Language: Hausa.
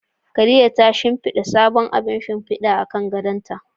Khadija ta shimfida sabon abun shimfida akan gadonta.